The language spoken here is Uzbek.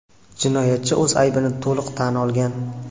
Jinoyatchi o‘z aybini to‘liq tan olgan.